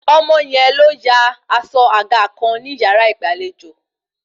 Ọmọ yẹn ló ya aṣọ àga kan ní yàrá ìgbàlejò